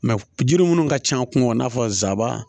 jiri minnu ka ca kungo kɔnɔ i n'a fɔ zaban